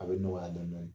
A bɛ nɔgɔya dɔɔnin dɔɔnin